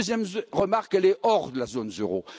La deuxième remarque est hors de la zone euro.